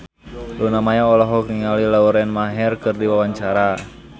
Luna Maya olohok ningali Lauren Maher keur diwawancara